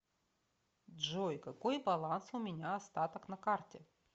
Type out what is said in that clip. джой какой баланс у меня остаток на карте